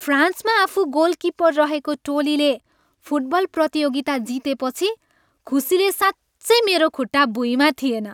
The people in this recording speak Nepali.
फ्रान्समा आफू गोलकिपर रहेको टोलीले फुटबल प्रतियोगिता जितेपछि खुसीले साँच्चै मेरो खुट्टा भुइँमा थिएन।